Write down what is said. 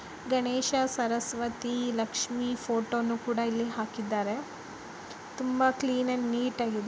ಗಣೇಶ ಸರಸ್ವತಿ ಲಕ್ಷ್ಮಿ ಫೋಟೋವನ್ನು ಕೂಡ ಇಲ್ಲಿ ಹಾಕಿದ್ದಾರೆ ತುಂಬಾ ಕ್ಲೀನ್ ಅಂಡ್ ನೀಟಾಗಿದೆ.